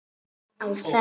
Á ferð